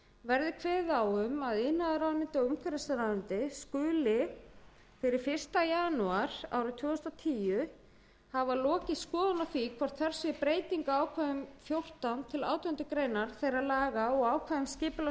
verði kveðið á um að iðnaðarráðuneyti og umhverfisráðuneyti skuli fyrir fyrsta janúar tvö þúsund og tíu hafa lokið skoðun á því hvort þörf sé breytinga á ákvæðum fjórtánda til átjándu grein þeirra laga og ákvæðum skipulags